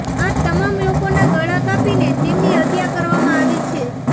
આ તમામ લોકોના ગળા કાપીને તેમની હત્યા કરવામાં આવી છે